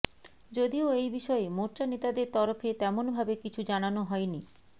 যদিও এই বিষয়ে মোর্চা নেতাদের তরফে তেমনভাবে কিছু জানানো হয়নি